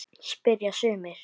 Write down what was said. spyrja sumir.